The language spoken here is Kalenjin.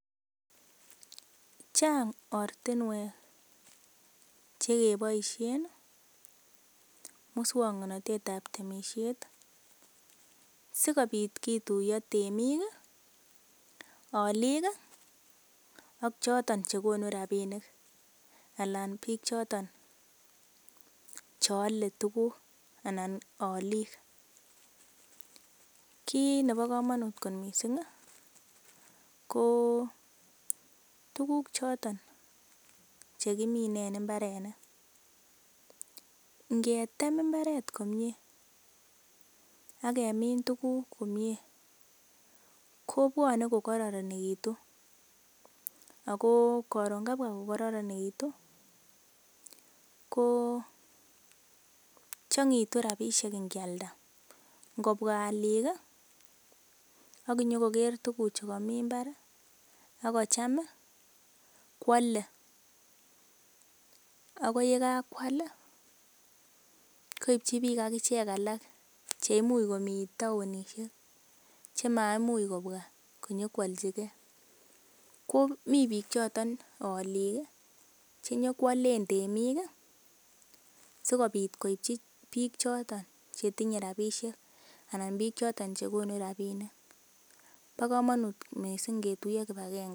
Chang ortinwek che keboisien muswoknatet ab temisiet sikobit kituiyo temik, olik ak choton che konu rabinik anan biik choton che ole tuguk anan olik. Kiit nebo komonut kot mising ko tuguk choton che kimine en mbarenik, ngetem mbaret komie ak kemin tuguk komie kobwone ko kororonegitu ago koron kabwa ko kororornegitu ko chang'etu rabishek ingealda. Ngobwa olik ak konyo koger tuguchu komi mbar a konyi kocham koale ago ye kagoal koityi biik ak ichek alak che imuch komi taonishek che maimuch kobwa nyokoalchi ge. Ko mi biik choton olik che nyokoalen temik sikobit koityi biik choton che tinye rabinishek anan biik choto che konu rabinik bo komonut misng ngetuiyo kipagenge.